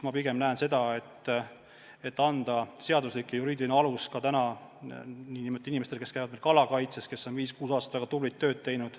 Ma pigem näen seda, et anda seaduslik ja juriidiline alus inimestele, kes käivad meil kalakaitses, kes on näiteks 5–6 aastat väga tublit tööd teinud.